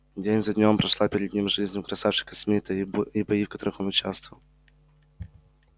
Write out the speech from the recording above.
день за днём прошла перед ним жизнь у красавчика смита и бои в которых он участвовал